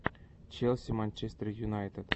челси манчестер юнайтед